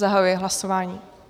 Zahajuji hlasování.